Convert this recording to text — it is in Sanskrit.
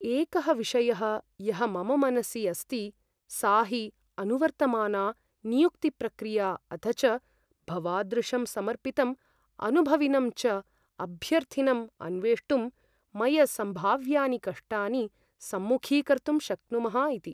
एकः विषयः यः मम मनसि अस्ति सा हि अनुवर्तमाना नियुक्तिप्रक्रिया अथ च भवादृशं समर्पितम् अनुभविनं च अभ्यर्थिनम् अन्वेष्टुं वयं सम्भाव्यानि कष्टानि सम्मुखीकर्तुं शक्नुमः इति।